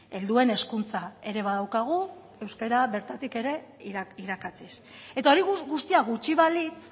helduen hezkuntza ere badaukagu euskara bertatik ere irakatsiz eta hori guztia gutxi balitz